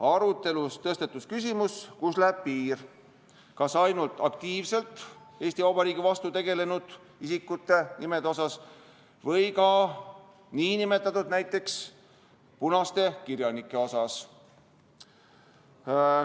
Arutelus tõstatus küsimus, kust läheb piir, kas ettepanek puudutab ainult aktiivselt Eesti Vabariigi vastu tegutsenud isikute nimesid või ka näiteks nn punaste kirjanike nimesid.